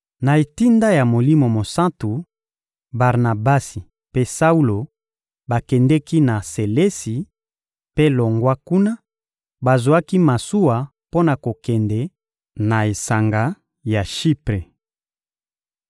Na etinda ya Molimo Mosantu, Barnabasi mpe Saulo bakendeki na Selesi; mpe longwa kuna, bazwaki masuwa mpo na kokende na esanga ya Shipre.